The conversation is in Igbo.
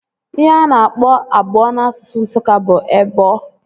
Ihe a na-akpọ abụọ n'asụsụ Nsụka bụ ebọ